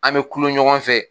An bɛ tulon ɲɔgɔn fɛ